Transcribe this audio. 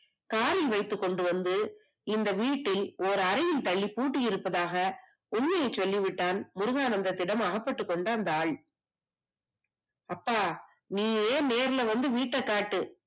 காரில் வைத்துக் கொண்டு வந்து இந்த வீட்டில் ஒரு அறையில் தள்ளி பூட்டி இருப்பதாக உண்மையை சொல்லிவிட்டான் முருகானந்தத்திடம் அகப்பட்டுக் கொண்ட அந்த ஆள் அப்பா நீயே நேரில் வந்து வீட்டை காட்டு